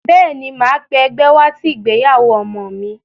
Bẹ́ẹ̀ ní, màá pé ẹgbẹ́ wá sí ìgbéyàwó ọmọ mi.